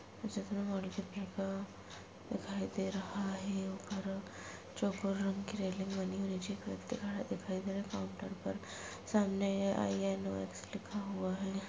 दिखाई दे रहा हे। ओपहर चौकोर रंग की रेलिंग बनी हुई है। दिखाई दे रहा है। काउंटर पर सामने आईएनओएक्स लिखा हुआ है।